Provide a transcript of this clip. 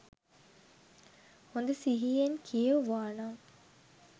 හොඳ සිහියෙන් කියෙව්වානම්